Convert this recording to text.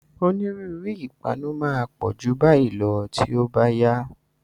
Onírúurú nǹkan ìpanu máa pọ̀ ju báyìí lọ tí ó bá yá.